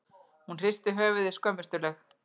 Hún hristi höfuðið skömmustuleg.